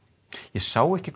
ég sá ekki